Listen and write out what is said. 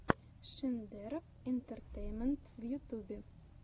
шендерофф интэртэйнмэнт в ютюбе